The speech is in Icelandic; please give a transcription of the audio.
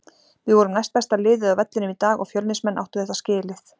Við vorum næstbesta liðið á vellinum í dag og Fjölnismenn áttu þetta skilið.